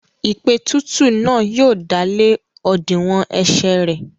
Ìpètùtù náà yóò dálé òdiwọ̀n ẹ̀sẹ̀ rẹ̀.